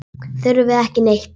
Þurfum við ekki neitt?